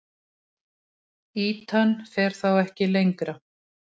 Ýtan fer þá ekki lengra.